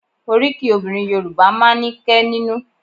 Oríkì obìnrin Yorùbá máa ń ní kẹ́ nínú